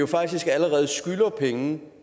faktisk allerede penge